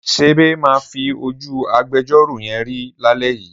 Sèbé máa fi ojú agbejọ́rò yẹn rí lálẹ́ yìí.